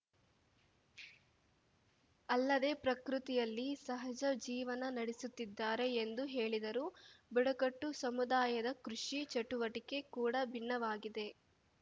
ಅಲ್ಲದೆ ಪ್ರಕೃತಿಯಲ್ಲಿ ಸಹಜ ಜೀವನ ನಡೆಸುತ್ತಿದ್ದಾರೆ ಎಂದು ಹೇಳಿದರು ಬುಡಕಟ್ಟು ಸಮುದಾಯದ ಕೃಷಿ ಚಟುವಟಿಕೆ ಕೂಡ ಭಿನ್ನವಾಗಿದೆ